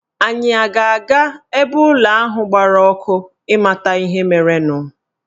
Anyị a ga-aga ebe ụlọ ahụ gbara ọkụ ịmata ihe merenụ?